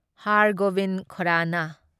ꯍꯥꯔ ꯒꯣꯕꯤꯟ ꯈꯣꯔꯥꯅꯥ